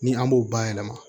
Ni an b'o bayɛlɛma